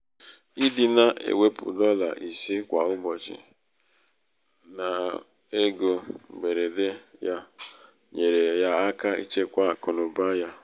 ịdị na -ewepụ dọla ise kwa ụbọchị kwa ụbọchị n'ego um mgberede yá um nyeere ya aka ichekwa akụnaụba ya.